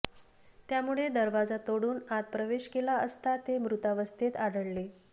त्यामुळे दरवाजा तोडून आत प्रवेश केला असता ते मृतावस्थेत आढळले